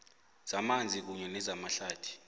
zamanzi kunye nezamahlathi